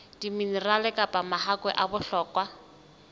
diminerale kapa mahakwe a bohlokwa